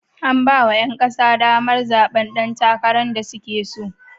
An ba wa 'yan kasa damar zaɓen ɗan takarar da suke so.